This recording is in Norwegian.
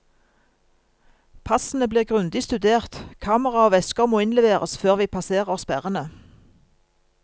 Passene blir grundig studert, kamera og vesker måinnleveres før vi passerer sperrene.